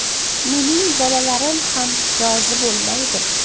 Mening bolalarim ham rozi bo‘lmaydi.